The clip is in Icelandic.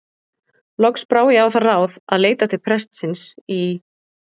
Loks brá ég á það ráð að leita til prestsins í